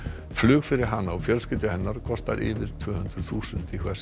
flug fyrir hana og fjölskyldu hennar kostar yfir tvö hundruð þúsund